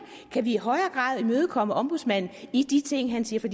kan vi i højere grad imødekomme ombudsmanden i de ting han siger for